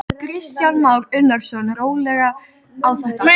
Kristján Már Unnarsson: Rólega á þetta?